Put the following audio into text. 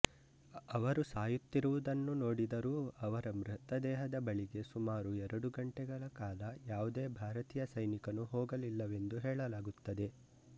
ಅವರು ಸಾಯುತ್ತಿರುವುದನ್ನು ನೋಡಿದರೂ ಅವರ ಮೃತದೇಹದ ಬಳಿಗೆ ಸುಮಾರು ಎರಡು ಗಂಟೆಗಳ ಕಾಲ ಯಾವುದೇ ಭಾರತೀಯ ಸೈನಿಕನೂ ಹೋಗಲಿಲ್ಲವೆಂದು ಹೇಳಲಾಗುತ್ತದೆ